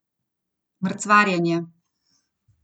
Mrcvarjenje.